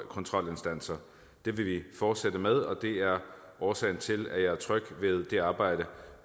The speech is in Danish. kontrolinstanser det vil vi fortsætte med og det er årsagen til at jeg er tryg ved det arbejde